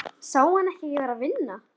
Sá hann ekki að ég var að vinna?